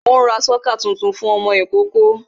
Ó ń ra sọ́kà tuntun fún ọmọ ìkókó